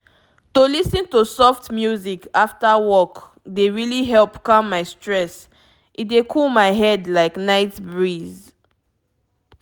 to lis ten to soft music after work dey really help calm my stress e dey cool my head like night breeze.